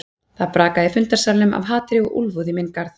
Það brakaði í fundarsalnum af hatri og úlfúð í minn garð.